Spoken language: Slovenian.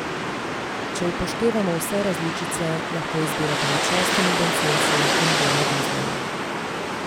Če upoštevamo vse različice, lahko izbirate med šestimi bencinci in dvema dizloma.